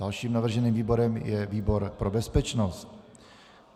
Dalším navrženým výborem je výbor pro bezpečnost.